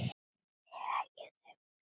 Heyrir ekkert.